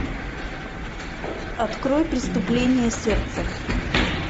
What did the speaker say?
открой преступление сердца